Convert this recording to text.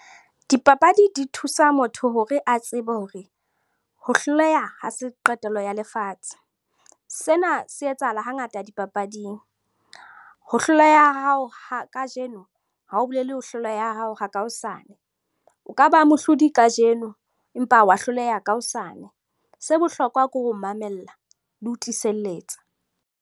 Dipapadi di thusa motho hore a tsebe hore ho hloleha ha se qetelo ya lefatshe. Sena se etsahala hangata dipapading. Ho hloleha ha hao kajeno ha ho bolele ho hloleha ha hao ka hosane. O ka ba mohlodi kajeno, empa wa hloleha ka hosane. Se bohlokwa ke ho mamella le ho tiiselletsa.